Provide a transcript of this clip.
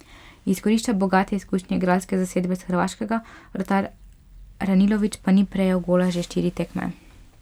Izkorišča bogate izkušnje igralske zasedbe s Hrvaškega, vratar Ranilović pa ni prejel gola že štiri tekme.